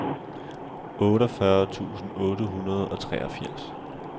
otteogfyrre tusind otte hundrede og treogfirs